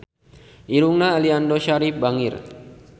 Irungna Aliando Syarif bangir